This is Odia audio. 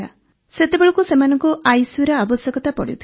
ସେତେବେଳେ ସେମାନଙ୍କୁ ଆଇସିୟୁର ଆବଶ୍ୟକତା ପଡ଼ୁଥିଲା